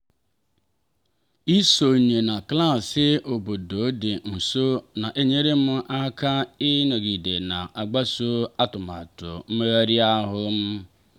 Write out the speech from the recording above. ịsonye na klaasị obodo dị nso na-enyere m aka ịnọgide na-agbaso atụmatụ mmegharị ahụ m.